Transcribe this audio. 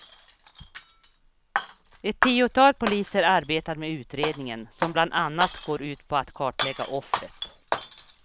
Ett tiotal poliser arbetar med utredningen, som bland annat går ut på att kartlägga offret.